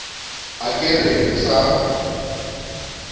a ka re o sa